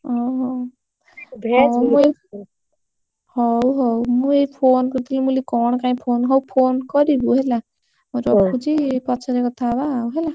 ଓହୋ ମୁଁ ଏଇ ହଉ, ହଉ, ମୁଁ ଏଇ phone କରିଥିଲି, ମୁଁ କହିଲି କଣ କାଇଁ phone ହଉ phone କରିବୁ ହେଲା! ମୁଁ ରଖୁଛି, ପଛରେ କଥା ହବା ଆଉ ହେଲା!